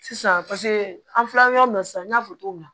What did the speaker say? Sisan paseke an filɛ yɔrɔ min na sisan n y'a fɔ cogo min na